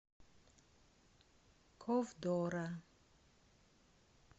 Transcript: ковдора